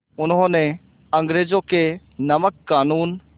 उन्होंने अंग्रेज़ों के नमक क़ानून